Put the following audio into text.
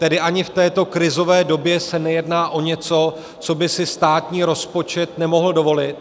Tedy ani v této krizové době se nejedná o něco, co by si státní rozpočet nemohl dovolit.